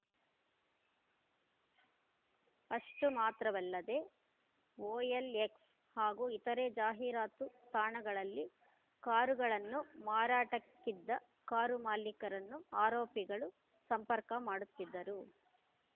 ಅಷ್ಟುಮಾತ್ರವಲ್ಲದೆ OLX ಹಾಗೂ ಇತರೆ ಜಾಹೀರಾತು ತಾಣಗಳಲ್ಲಿ ಕಾರುಗಳನ್ನು ಮಾರಾಟಕ್ಕಿದ್ದ ಕಾರು ಮಾಲಿಕರನ್ನು ಆರೋಪಿಗಳು ಸಂಪರ್ಕ ಮಾಡುತ್ತಿದ್ದರು